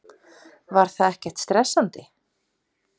Var það ekkert stressandi?